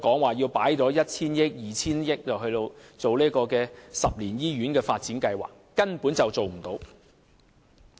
不要跟我們說要投放一兩千億元給十年醫院發展計劃，這根本無濟於事。